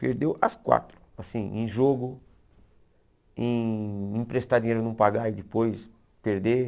Perdeu as quatro, assim, em jogo, em emprestar dinheiro e não pagar e depois perder.